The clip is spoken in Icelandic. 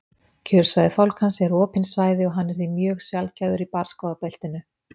kjörsvæði fálkans eru opin svæði og hann er því mjög sjaldgæfur í barrskógabeltinu